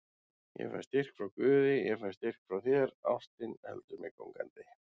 Ég fæ styrk frá guði, ég fæ styrk frá þér, ástin heldur mér gangandi.